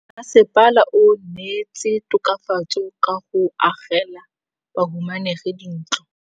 Mmasepala o neetse tokafatsô ka go agela bahumanegi dintlo.